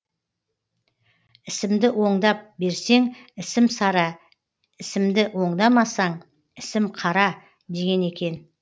ісімді оңдап берсең ісім сара ісімді оңдамасаң ісім қара деген екен